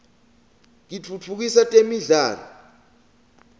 kitfutfukisa temidlalo